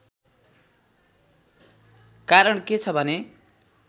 कारण के छ भने